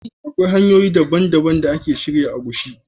Akwai hanyoyi dabban-dabban da a ke shirya agushi.